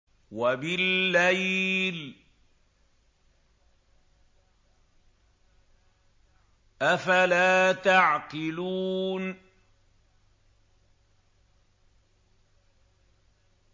وَبِاللَّيْلِ ۗ أَفَلَا تَعْقِلُونَ